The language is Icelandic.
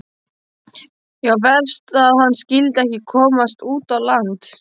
Já, verst að hann skyldi ekki komast út á land.